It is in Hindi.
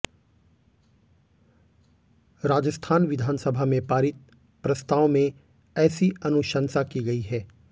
राजस्थान विधानसभा में पारित प्रस्ताव में ऐसी अनुशंसा की गई है